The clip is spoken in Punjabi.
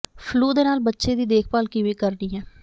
ਫਲੂ ਦੇ ਨਾਲ ਬੱਚੇ ਦੀ ਦੇਖਭਾਲ ਕਿਵੇਂ ਕਰਨੀ ਹੈ